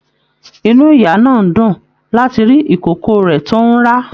Inú ìyá náà dún láti rí ikòkò rẹ tó n rá.